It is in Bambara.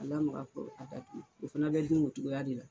A lamaka fo a ka o fana be dun o cogoya de la.